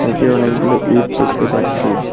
নীচে অনেকগুলো ইট দেখতে পাচ্ছি।